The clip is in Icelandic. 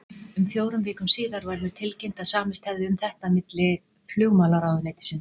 Um fjórum vikum síðar var mér tilkynnt, að samist hefði um þetta á milli flugmálaráðuneytisins